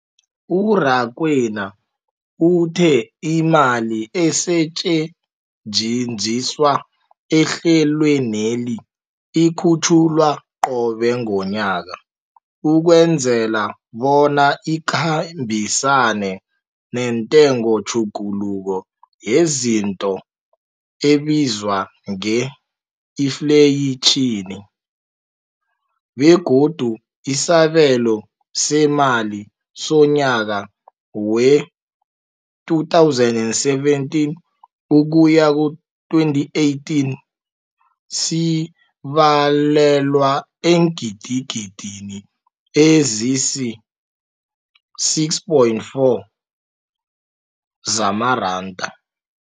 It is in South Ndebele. U-Rakwena uthe imali esetjenziswa ehlelweneli ikhutjhulwa qobe ngomnyaka ukwenzela bona ikhambisane nentengotjhuguluko yezinto ebizwa nge-infleyitjhini, begodu isabelo seemali somnyaka we-2017 ukuya ku-2018 sibalelwa eengidigidini ezisi-6.4 zamaranda.